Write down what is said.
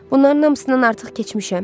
Bunların hamısından artıq keçmişəm.